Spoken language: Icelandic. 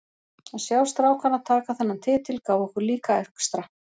Að sjá strákana taka þennan titil gaf okkur líka extra.